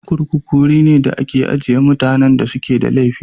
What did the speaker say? Kurkuku wuri ne da ake ajiye mutanen da suka yi laifi.